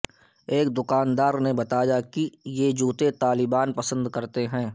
ایک دکاندار نے بتایا کہ یہ جوتے طالبان پسند کرتے ہیں